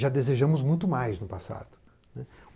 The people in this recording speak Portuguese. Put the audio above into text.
Já desejamos muito mais no passado.